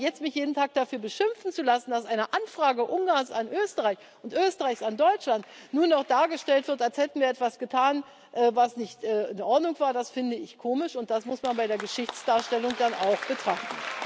Aber jetzt mich jeden Tag dafür beschimpfen zu lassen, dass eine Anfrage Ungarns an Österreich und Österreichs an Deutschland nun auch dargestellt wird, als hätten wir etwas getan, was nicht in Ordnung war, das finde ich komisch, und das muss man bei der Geschichtsdarstellung dann auch betrachten.